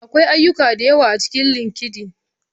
Akwai ayyuka da yawa a cikin LinkedIn.